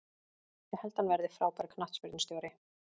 Ég held að hann verði frábær knattspyrnustjóri.